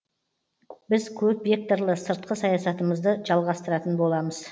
біз көпвекторлы сыртқы саясатымызды жалғастыратын боламыз